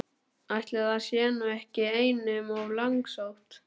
Ætli það sé nú ekki einum of langsótt!